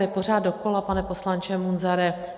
To je pořád dokola, pane poslanče Munzare.